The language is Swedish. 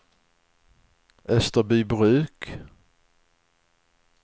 Österbybruk